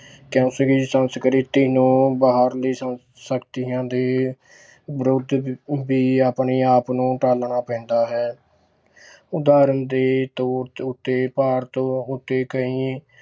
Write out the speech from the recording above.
ਸੰਸਕ੍ਰਿਤੀ ਨੂੰ ਬਾਹਰਲੀ ਸੰ~ ਸ਼ਕਤੀਆਂ ਦੇ ਵਿਰੁੱਧ ਵੀ ਆਪਣੇ ਆਪ ਨੂੰ ਢਾਲਣਾ ਪੈਂਦਾ ਹੈ ਉਦਾਹਰਣ ਦੇ ਤੌਰ ਉੱਤੇ ਭਾਰਤ ਉੱਤੇ ਕਈ